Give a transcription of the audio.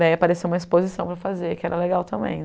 Daí apareceu uma exposição para fazer, que era legal também.